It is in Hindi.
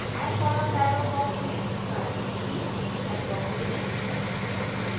add column dialog box में primary key चेकबॉक्स चुनें